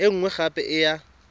e nngwe gape e ya